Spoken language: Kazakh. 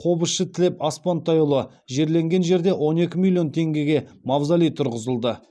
қобызшы тілеп аспантайұлы жерленген жерде рн екі миллион теңгеге мавзолей тұрғызылды